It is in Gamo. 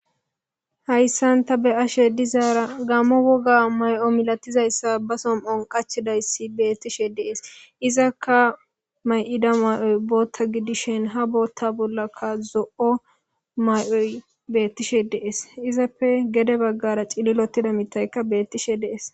Hayssan tha be7ashee dizaara gaammo wogaa may7o milathizayssa ba som7on qachchidayssi beeththishe de7ees;izakka may7ida may7oy booththa gidishin ha booththaa bollakka zo7o may7oy beeththishe de7ees;he izappe gede baggara cililoththida miththaykka beeththishe de7ees.